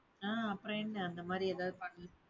ஆஹ் அப்பறம் என்ன அந்த மாதிரி எதாவது பண்~